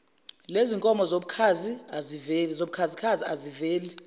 lezinkomo zobukhazi aziveli